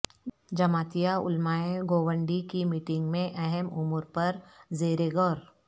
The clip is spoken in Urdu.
جمعیتہ علماء گوونڈی کی میٹنگ میں اہم امور پرزیر غور